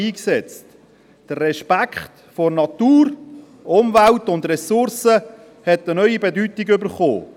Der Respekt vor der Natur, der Umwelt und den Ressourcen hat eine neue Bedeutung bekommen.